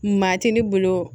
Maa tɛ ne bolo